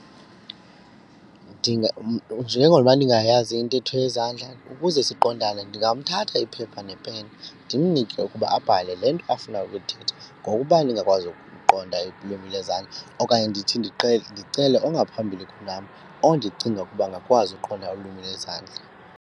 Njengoba ndingayazi intetho yezandla ukuze siqondane ndingamthatha iphepha nepeni ndimnike ukuba abhale le nto afuna ukuyithetha ngokuba ndingakwazi ukuqonda ulwimi lwezandla okanye ndithi ndicele ongaphambili kunam ondicinga ukuba angakwazi ukuqonda ulwimi lwezandla.